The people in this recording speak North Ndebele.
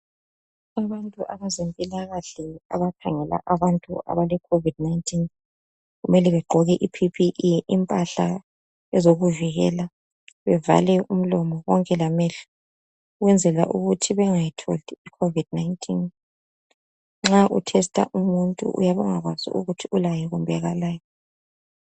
Abantu abezempilakahle abakhangela abantu abale Covid 19 kumele begqoke iPPE impahla ezokuvikela bevale umlomo konke lamehlo ukwenzela ukuthi bengayitholi iCovid 19. Nxa utesita umuntu uyabe ungakwazi ukuthi ulayo kumbe kalayo.